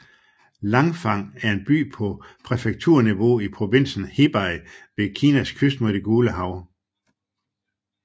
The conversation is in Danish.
Langfang 廊坊 er en by på præfekturniveau i provinsen Hebei ved Kinas kyst mod det Gule Hav